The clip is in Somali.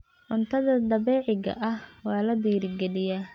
Cuntada dabiiciga ah waa la dhiirigeliyaa.